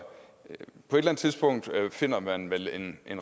på et eller andet tidspunkt finder man vel den